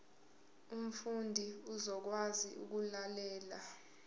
umfundi uzokwazi ukulalela